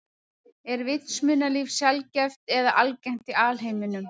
Er vitsmunalíf sjaldgæft eða algengt í alheiminum?